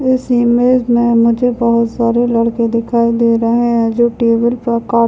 इस इमेज में मुझे बहुत सारे लड़के दिखाई दे रहे हैं जो टेबल पर का --